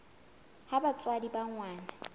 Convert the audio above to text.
ha batswadi ba ngwana ba